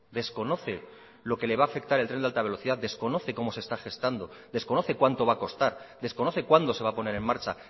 desconoce lo que va a afectar el tren de alta velocidad desconoce cómo se está gestando desconoce cuánto va a costar desconoce cuándo se va a poner en marcha